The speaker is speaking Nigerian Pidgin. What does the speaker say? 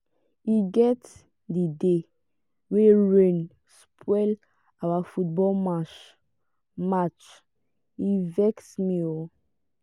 e get di day wey rain spoil our football match match e vex me o.